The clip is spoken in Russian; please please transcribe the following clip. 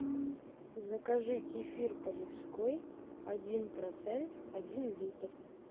закажи кефир полевской один процент один литр